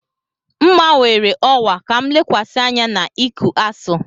M gbanwere ọwa ka m lekwasị anya na iku Asuu.